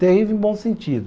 Terrível em bom sentido.